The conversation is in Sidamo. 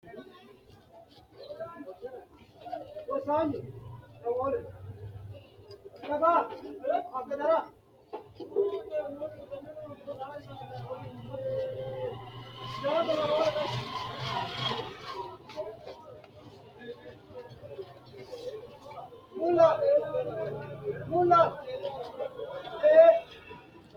ko bayichi addintanni biifado ikkitino dargubba giddo mitto ikikitanna, hooweno lowontanni biiffannote lowo ishini nafa leellannowi dino, hattono giddose faayyulle haqqe kayinsoonniti nooha ikkanno.